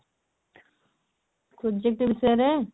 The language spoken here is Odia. project ବିଷୟରେ?